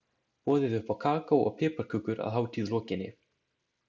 Boðið upp á kakó og piparkökur að hátíð lokinni.